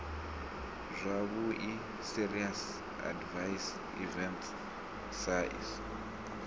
zwavhui serious adverse events saes